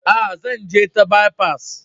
Aa, zan je ta bipas.